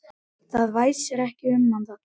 Það væsir ekki um hann þarna.